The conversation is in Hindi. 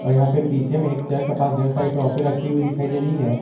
यहां पे पीछे में एक चेयर के पास ढेर सारी ट्रॉफी रखी हुई दिखाई दे रही है।